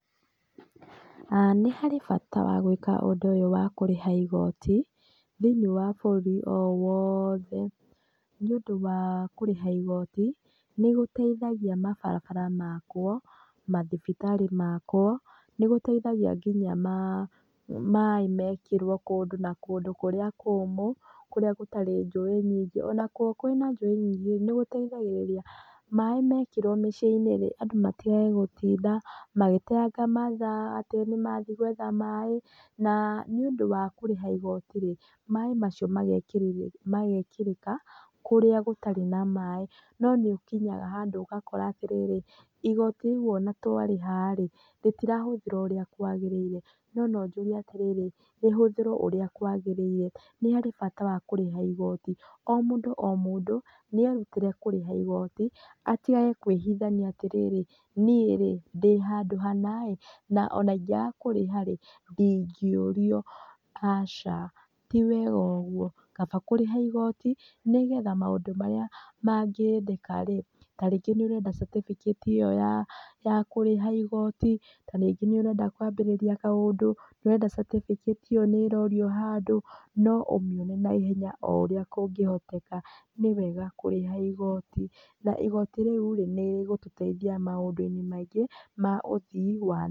Nĩ harĩ bata wa gwĩka ũndũ ũyũ wa kũrĩha igoti thĩiniĩ wa bũrũri o wothe, nĩ ũndũ wa kũrĩha igoti nĩgũteithagia mabarabara makwo, mathibitarĩ makwo, nĩgũteithagia ngina maĩ mekĩrwo kũndũ na kũndũ kũrĩa kũmũ, kũrĩa gũtarĩ njũĩ nyingĩ, ona kũngĩkorwo kwĩna njũĩ nyingĩ nĩgũteĩthagĩrĩria maĩ mekĩrwo mĩciĩ-inĩ andũ matigage gũtinda magĩteyanga mathaa atĩ nĩmathiĩ gwetha maĩ na nĩ ũndũ wa kũrĩha igoti rĩ maĩ macio magekĩrĩka kũrĩa gũtarĩ na maĩ. No nĩ ũkinyaga handũ ũgakora atĩrĩrĩ igoti rĩu ona twarĩha rĩ rĩtirahũthĩrwo ũrĩa kwagĩrĩire. No no njuge atĩrĩrĩ rĩhũthĩrwo ũrĩa kwagĩrĩire. Nĩ harĩ bata wa kũrĩha igoti o mũndũ o mũndũ nĩ erutĩre kũrĩha igoti atigage kwĩhithania atĩrĩrĩ nĩĩ rĩ ndĩ handũ hana ĩ na ona ĩngĩaga kũrĩha rĩ ndingĩũrio. Aca tĩ wega ũguo, kaba kũrĩha igoti nĩgetha maũndũ marĩa mangĩendeka rĩ tarĩngĩ nĩ ũrenda certificate ĩyo ya kũrĩha igoti, ta rĩngĩ nĩ ũrenda kwambĩrĩria maũndũ, ũrenda certificate ĩyo nĩ ĩrorio handũ no ũmĩone naihenya o ũrĩa kũngĩhoteka. Nĩwega kũrĩha igoti, na igoti rĩu nĩrĩgũtũteithia maũndũ-inĩ maingĩ ma ũthiĩ wa na mbere.